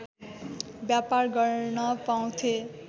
व्यापार गर्न पाउँथे